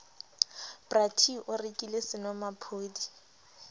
bra t o rekile senomaphodi